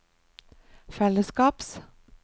fellesskaps